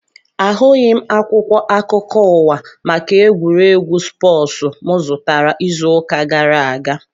Ahụghị akwụkwọ akụkọ ụwa maka egwuregwu spoosu mụ zụtara izu ụka gara aga